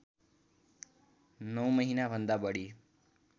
९ महिनाभन्दा बढी